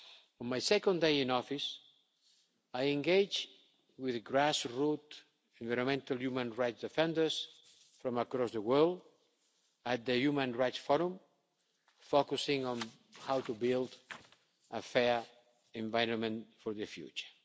On my second day in office, I engaged with grassroots environmental human rights defenders from around the world at the Human Rights Forum, focusing on how to build a fair environment for the future.